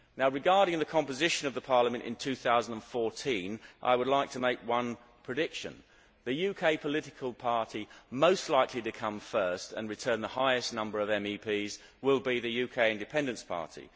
Regarding the composition of Parliament in 2014, I would like to make one prediction the UK political party most likely to come first and return the highest number of MEPs will be the UK Independence Party.